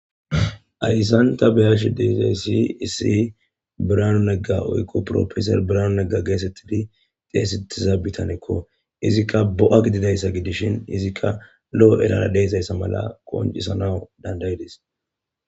Ayssan ta be'ayashi disa issi Biraanu Negga woykko profeser Biranu Negga geesettidi xeesetiza bitanekko. Izikka bo'a gidida issa gidishin izikka lo'o erara de'iya asa mala qoncisana dandayidis.